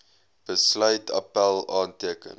besluit appèl aanteken